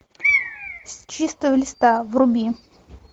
с чистого листа вруби